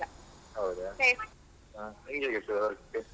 ಹೌದಾ ಅಹ್ ನಿನ್ಗೆ ಹೇಗಾಗ್ತದೆ work .